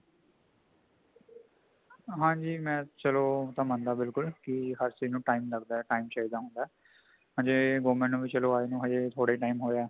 ਹਾਂਜੀ ਮੈ , ਚੱਲੋ ਏਦਾਂ ਮੰਦਾ ਬਿਲਕੁੱਲ ਕੀ , ਹਰ ਚੀਸਨੁ time ਲੱਗਦਾ ਹੈ time ਚਾਹੀਦਾ ਹੋਂਦਾ ,ਜੇ government ਨੂੰ ਵੀ ਆਏ ਨੂੰ ਹੱਲੇ ਥੋੜ੍ਹਾ ਹੈ time ਹੋਈਆਂ ਹੈ